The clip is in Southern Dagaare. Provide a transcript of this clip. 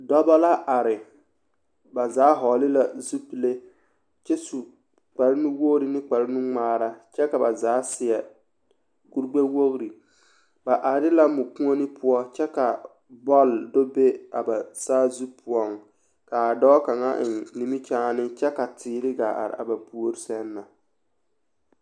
Dɔbɔ la are, ba zaa hɔgele la zupile kyɛ su kpare nu-wogiri ne kpare nu-ŋmaara kyɛ ka ba zaa seɛ kuri gbɛ-wogiri ba are la mɔkuoni poɔ kyɛ ka bɔl do be a ba saazu poɔŋ k'a dɔɔ kaŋa eŋ nimikyaane kyɛ ka teere gaa are a ba puori sɛŋ na.